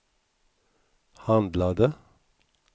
handlade